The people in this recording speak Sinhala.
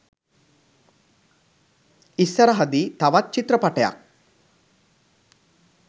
ඉස්සරහ දී තවත් චිත්‍රපටයක්